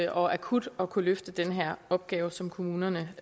og akut at kunne løfte den her opgave som kommunerne